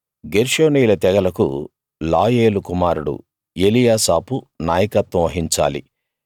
గెర్షోనీయుల తెగలకు లాయేలు కుమారుడు ఎలీయాసాపు నాయకత్వం వహించాలి